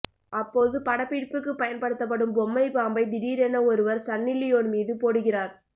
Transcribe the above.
அப்போது படப்பிடிப்புக்கு பயன்படுத்தப்படும் பொம்மை பாம்பை திடீரென ஒருவர் சன்னிலியோன் மீது போடுகிறார்